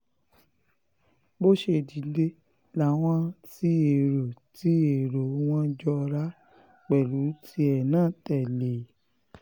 bó ṣe dìde làwọn tí èrò tí èrò wọn jọra pẹ̀lú tìẹ náà tẹ̀lé e